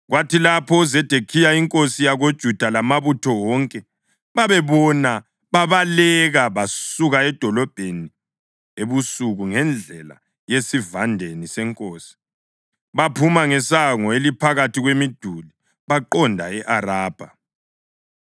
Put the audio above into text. Kwathi lapho uZedekhiya inkosi yakoJuda lamabutho wonke bebabona babaleka. Basuka edolobheni ebusuku ngendlela yasesivandeni senkosi, baphuma ngesango eliphakathi kwemiduli, baqonda e-Arabha.